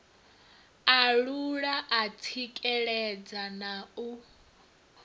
alula u tsikeledza na u